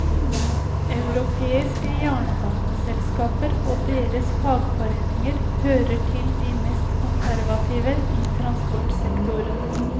Europeiske jernbaneselskaper og deres fagforeninger hører til de mest konservative i transportsektoren.